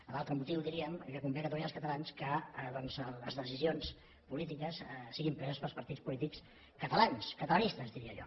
l’altre motiu diríem que convé a catalunya i als catalans que les decisions polítiques siguin preses pels partits polítics catalans catalanistes diria jo